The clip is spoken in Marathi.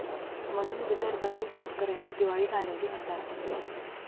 ...म्हणून विदर्भातील शेतकऱ्यांनी दिवाळी घालवली अंधारात!